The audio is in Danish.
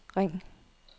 ring